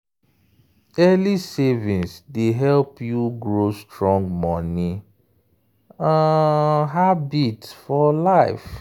early savings dey help you grow strong money um habit for life.